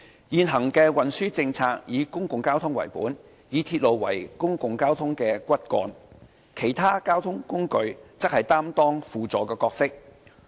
現行的運輸政策以公共交通為本，以鐵路為公共交通的骨幹，其他交通工具則擔當輔助角色。